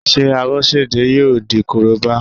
Ṣé Abọ́sẹ̀dé yóò di Korobá?